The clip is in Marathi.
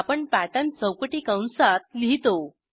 आपण पॅटर्न चौकटी कंसात लिहितो